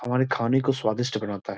हमारे खाने को स्वादिष्ट बनाता है।